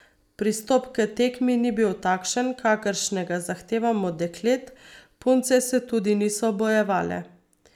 Pristop k tekmi ni bil takšen, kakršnega zahtevam od deklet, punce se tudi niso bojevale.